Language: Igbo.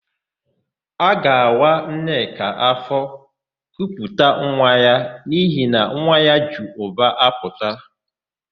A ga-awa Nneka áfọ̀ kuputa nwa ya n'ihi na nwa ya ji ubu apụta.